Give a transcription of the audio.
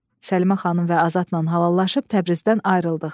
Səlimə xanım və Azadla halallaşıb Təbrizdən ayrıldıq.